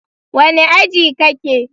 Wane aji ka ke?